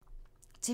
TV 2